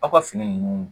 Aw ka fini ninnu